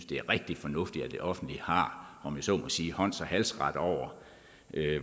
det er rigtig fornuftigt at det offentlige har om jeg så må sige hånds og halsret over